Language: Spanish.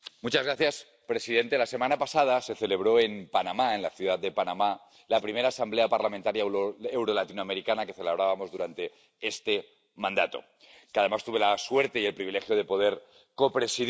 Señor presidente, la semana pasada se celebró en Panamá, en la ciudad de Panamá, la primera Asamblea Parlamentaria Euro Latinoamericana que celebrábamos durante este mandato, que, además, tuve la suerte y el privilegio de poder copresidir.